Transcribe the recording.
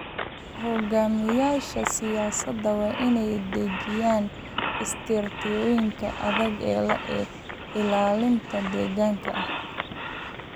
Hoggaamiyeyaasha siyaasadda waa inay dejiyaan istiraatiijiyooyin adag oo ilaalinta deegaanka ah.